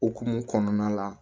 Okumu kɔnɔna la